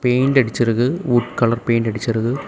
Paint அடிச்சிருக்கு wood colour paint அடிச்சிருக்கு.